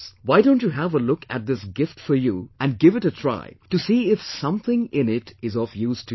Why don't you have a look at this gift for you and give it a try to see if something in it is of use to you